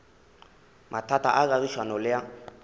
mathata a kagišano le a